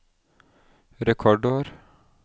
rekordår